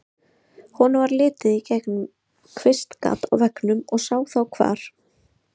Honum varð litið í gegnum kvistgat á veggnum og sá þá hvar